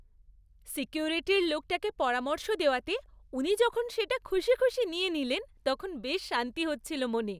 সিকিউরিটির লোকটাকে পরামর্শ দেওয়াতে উনি যখন সেটা খুশি খুশি নিয়ে নিলেন তখন বেশ শান্তি হচ্ছিল মনে।